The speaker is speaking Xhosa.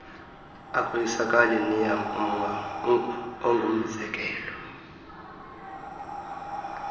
akoyisakali neam ungumzekelo